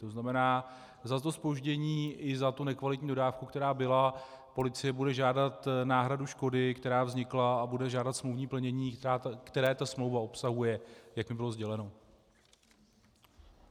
To znamená, za to zpoždění i za tu nekvalitní dodávku, která byla, policie bude žádat náhradu škody, která vznikla, a bude žádat smluvní plnění, které ta smlouva obsahuje, jak mi bylo sděleno.